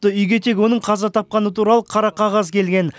үйге тек оның қаза тапқаны туралы қара қағаз келген